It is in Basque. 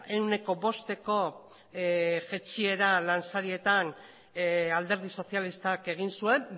ehuneko bosteko jaitsiera lansarietan alderdi sozialistak egin zuen